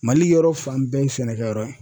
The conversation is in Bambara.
MALI yɔrɔ fan bɛɛ ye sɛnɛkɛyɔrɔ ye.